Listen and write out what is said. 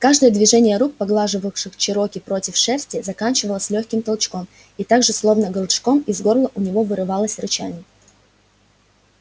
каждое движение рук поглаживавших чероки против шерсти заканчивалось лёгким толчком и так же словно голчком из горла у него вырывалось рычание